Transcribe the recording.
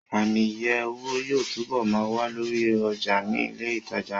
Ààmì iye owó yóò túbọ̀ ma wà lórí ọjà ní ilẹ̀ ìtajà ńlá